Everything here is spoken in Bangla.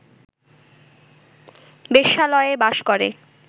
বেশ্যালয়ে বাস করে